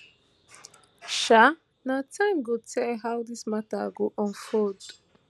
um na time go tell how dis matter go unfold